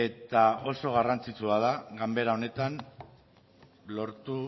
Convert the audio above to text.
eta oso garrantzitsua da ganbera honetan lortu